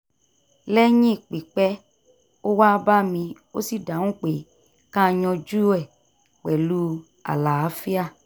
lẹ́yìn pípẹ́ ó wá bá mi ó sì dáhùn pé ká yanjú e pẹ̀lú àlàáfíà